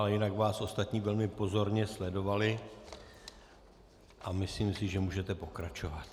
Ale jinak vás ostatní velmi pozorně sledovali a myslím si, že můžete pokračovat.